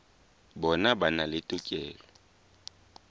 bona ba na le tokelo